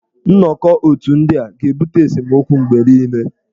Nnọkọ otù ndị a ga-ebute esemokwu mgbe niile.